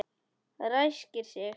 Ræskir sig.